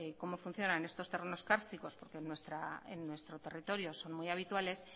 cómo funcionan estos terrenos cársticos porque en nuestro territorio son muy habituales